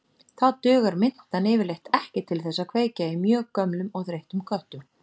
Þá dugar mintan yfirleitt ekki til þess að kveikja í mjög gömlum og þreyttum köttum.